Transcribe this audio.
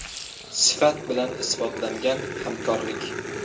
Sifat bilan isbotlangan hamkorlik.